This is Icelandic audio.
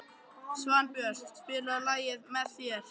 Svanbjört, spilaðu lagið „Með þér“.